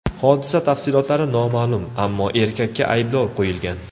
Hodisa tafsilotlari noma’lum, ammo erkakka ayblov qo‘yilgan.